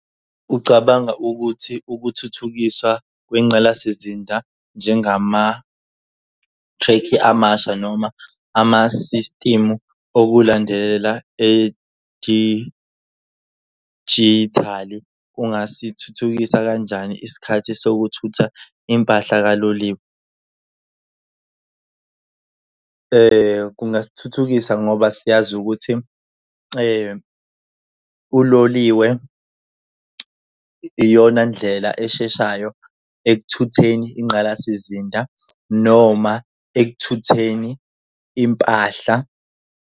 Ucabanga ukuthi ukuthuthukiswa kwengqalasizinda njengamathrekhi amasha noma amasistimu okulandela edijithali kungasithuthukisa kanjani isikhathi sokuthutha impahla kaloliwe. Kungangisithuthukisa ngoba siyazi ukuthi uloliwe iyona ndlela esheshayo ekuthutheni ingqalasizinda noma ekuthukutheleni impahla.